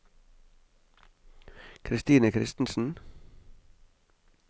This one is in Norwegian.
Christine Kristensen